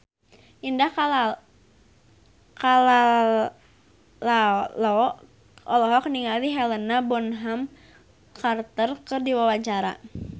Indah Kalalo olohok ningali Helena Bonham Carter keur diwawancara